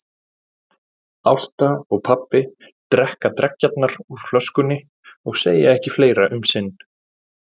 Ásta og pabbi drekka dreggjarnar úr flöskunni og segja ekki fleira um sinn.